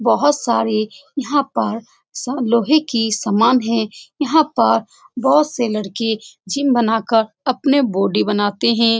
बहुत सारे यहाँ पर सब लोहे की सामान है यहाँ पर बहुत से लड़के जिम बनाकर अपनी बॉडी बनाते हैं ।